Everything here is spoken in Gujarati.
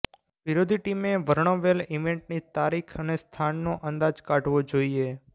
વિરોધી ટીમએ વર્ણવેલ ઇવેન્ટની તારીખ અને સ્થાનનો અંદાજ કાઢવો જોઈએ